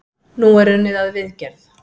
Nú er unnið að viðgerð.